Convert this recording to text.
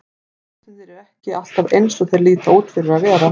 Hlutirnir eru ekki alltaf eins og þeir líta út fyrir að vera.